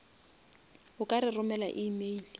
o ka re romela email